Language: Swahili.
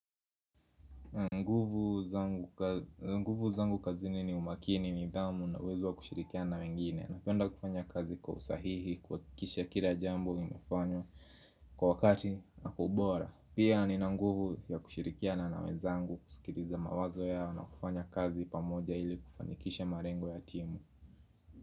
Nguvu zangu kazini ni umakini nithamu na uwezo wa kushirikiana wengine. Napenda kufanya kazi kwa usahihi, kukikisha kila jambo imefanya kwa wakati na kwa ubora. Pia ni nguvu ya kushirikiana na wezangu kusikiliza mawazo yao na kufanya kazi pamoja ili kufanikisha malengo ya timu.